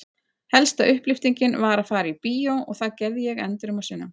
Helsta upplyftingin var að fara í bíó og það gerði ég endrum og sinnum.